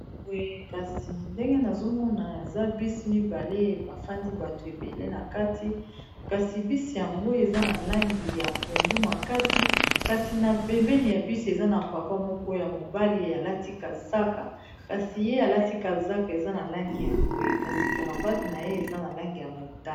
Kasi ndenge nazomona eza bis mibale bafandi bato ebele na kati kasi bisi yango eza na langi ya pondu, makasi kasi na pembeni ya bisi eza na papa moko ya mobali alati kazaka kasi ye alati kazaka eza na langi ya mbwe, kasi caravate na ye eza na langi ya mota.